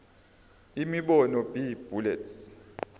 imibono b bullets